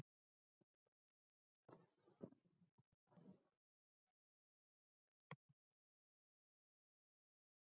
Uppskriftin er komin frá Snæbirni Gunnsteinssyni.